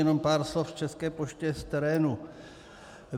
Jenom pár slov k České poště z terénu.